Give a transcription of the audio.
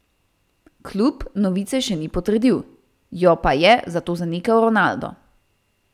Klub novice še ni potrdil, jo pa je zato zanikal Ronaldo.